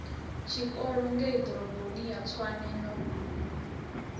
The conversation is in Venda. tshikolo ngeiḓoroboni ya tshwane no